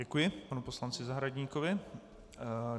Děkuji panu poslanci Zahradníkovi.